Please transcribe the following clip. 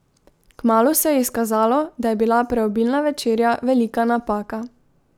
Kmalu se je izkazalo, da je bila preobilna večerja velika napaka.